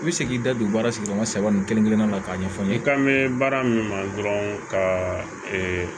I bɛ se k'i da don baara sigi ɲɔgɔn saba nin kelen-kelenna k'a ɲɛfɔ n ye i k'an mɛ baara min na dɔrɔn ka